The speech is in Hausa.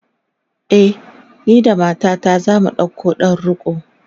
e, ni da matata zamu ɗauko ɗan riko